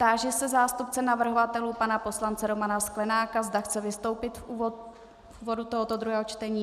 Táži se zástupce navrhovatelů pana poslance Romana Sklenáka, zda chce vystoupit v úvodu tohoto druhého čtení.